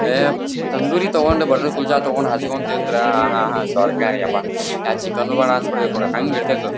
ಎಹ್ಹ್ ತಂದೂರಿ ತಕೊಂಡ್ ಬಟರ್ ಕುಲ್ಚಾ ತಕೊಂಡ್ ಹಚ್ಕೊಂಡ್ ತಿಂದ್ರೆ ಅಹ್ಹ್ಹ ಹಾ ಸ್ವರ್ಗ ಆಹ್ಹ್ ಯಬ್ಬಾ ಯಾವ್ ಚಿಕನ್ ಬೇಡ ಹ್ಯಾಂಗ ಇರ್ತಾಯಿತು ಅದು.